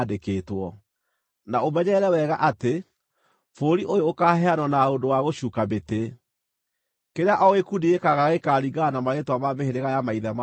Na ũmenyerere wega atĩ, bũrũri ũyũ ũkaaheanwo na ũndũ wa gũcuuka mĩtĩ. Kĩrĩa o gĩkundi gĩkaagaya gĩkaringana na marĩĩtwa ma mĩhĩrĩga ya maithe mao ma tene.